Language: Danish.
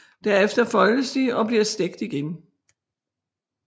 Derefter foldes de og bliver stegt igen